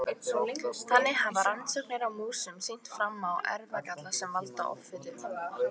Þannig hafa rannsóknir á músum sýnt fram á erfðagalla sem valda offitu.